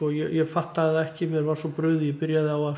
ég fattaði það ekki mér var svo brugðið ég byrjaði á að